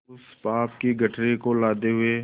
उस पाप की गठरी को लादे हुए